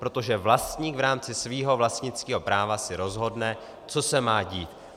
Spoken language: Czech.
Protože vlastník v rámci svého vlastnického práva si rozhodne, co se má dít.